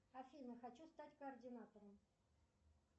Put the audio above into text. афина хочу стать координатором